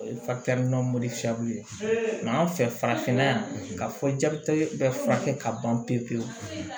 O ye ye an fɛ farafinna yan ka fɔ jati bɛ furakɛ ka ban pewu pewu